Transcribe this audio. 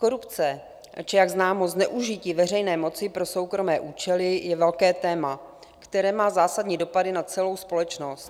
Korupce či jak známo zneužití veřejné moci pro soukromé účely je velké téma, které má zásadní dopady na celou společnost.